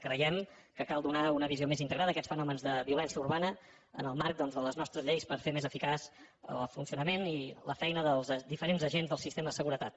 creiem que cal donar una visió més integrada a aquests fenòmens de violència urbana en el marc de les nostres lleis per fer més eficaç el funcionament i la feina dels diferents agents del sistema de seguretat